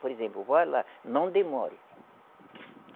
Por exemplo, vá lá, não demore.